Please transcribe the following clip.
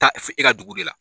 Taa fo e ka dugu de la.